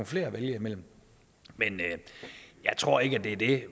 flere at vælge imellem men jeg tror ikke det er det